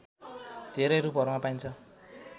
धेरै रूपहरूमा पाइन्छ